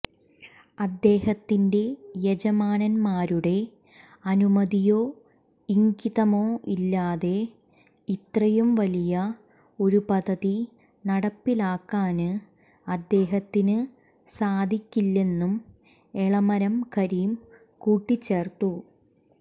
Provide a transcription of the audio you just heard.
അദ്ദേഹത്തിന്റെ യജമാനന്മാരുടെ അനുമതിയോ ഇംഗിതമോ ഇല്ലാതെ ഇത്രയും വലിയ ഒരു പദ്ധതി നടപ്പിലാക്കാന് അദ്ദേഹത്തിന് സാധിക്കില്ലെന്നും എളമരം കരീം കൂട്ടിച്ചേര്ത്തു